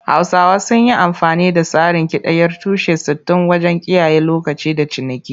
Hausawa sun yi amfani da tsarin kidayar tushe-sittin wajen kiyaye lokaci da ciniki.